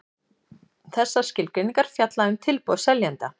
Þessar skilgreiningar fjalla um tilboð seljanda.